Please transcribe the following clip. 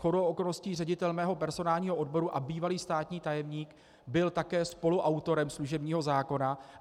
Shodou okolností ředitel mého personálního odboru a bývalý státní tajemník byl také spoluautorem služebního zákona.